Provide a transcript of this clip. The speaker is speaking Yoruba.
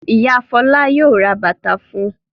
Ìyá Fọlá yóò ra bàtà fún un.